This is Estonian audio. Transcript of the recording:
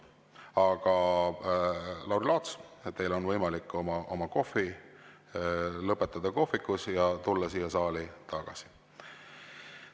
Aga, Lauri Laats, teil on võimalik oma kohv lõpetada kohvikus ja tulla siia saali tagasi.